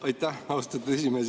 Aitäh, austatud esimees!